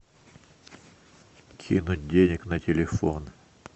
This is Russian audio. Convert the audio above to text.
кинуть денег на телефон